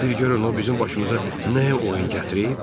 Biri görün o bizim başımıza nə oyun gətirib?